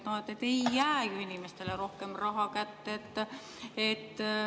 No ei jää ju inimestele rohkem raha kätte.